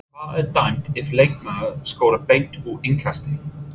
Hvað er dæmt ef leikmaður skorar beint úr innkasti?